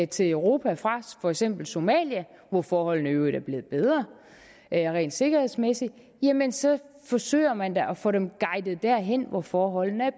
til europa fra for eksempel somalia hvor forholdene i øvrigt er blevet bedre rent sikkerhedsmæssigt jamen så forsøger man da at få dem guidet derhen hvor forholdene er